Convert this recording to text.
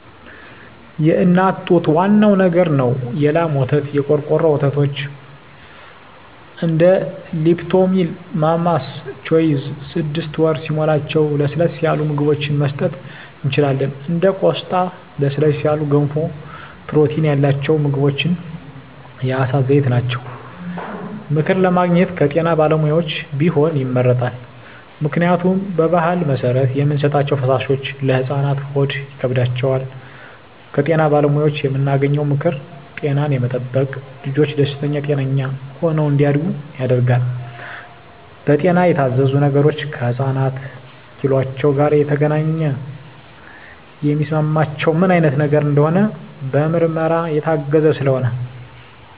የእናት ጡት ዋናው ነገር ነው የላም ወተት , የቆርቆሮ ወተቶች እንደ ሊፕቶሚል ማማስ ቾይዥ ስድስት ወር ሲሞላቸው ለስለስ ያሉ ምግብችን መስጠት እንችላለን እንደ ቆስጣ ለስለስ ያሉ ገንፎ ፕሮቲን ያላቸው ምግቦች የአሳ ዘይት ናቸው። ምክር ለማግኘት ከጤና ባለሙያዎች ቢሆን ይመረጣል ምክንያቱም በባህል መሰረት የምንሰጣቸዉ ፈሳሾች ለህፃናት ሆድ ይከብዳቸዋል። ከጤና ባለሙያዎች የምናገኘው ምክር ጤናን የጠበቀ ልጅች ደስተኛ ጤነኛ ሆነው እንዳድጉ ያደርጋል። በጤና የታዘዙ ነገሮች ከህፃናት ኪሏቸው ጋር የተገናኘ የሚስማማቸው ምን አይነት ነገር እንደሆነ በምርመራ የታገዘ ስለሆነ